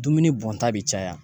Dumuni bɔnta be caya.